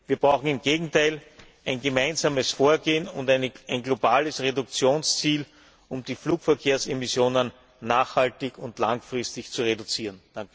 Wir brauchen im Gegenteil ein gemeinsames Vorgehen und ein globales Reduktionsziel, um die Flugverkehrsemissionen nachhaltig und langfristig zu reduzieren.